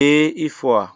Dee ifo a!